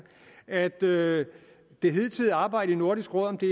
at det det hidtidige arbejde i nordisk råd om det